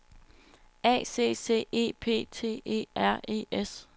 A C C E P T E R E S